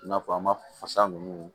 I n'a fɔ an ma fasa ninnu